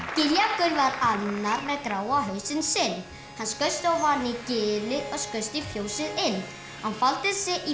Giljagaur var annar með gráa hausinn sinn hann skreið ofan úr gili og skaust í fjósið inn hann faldi sig í